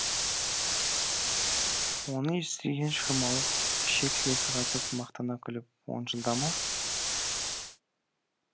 оны естіген шырмауық ішек сілесі қатып мақтана күліп он жылда ма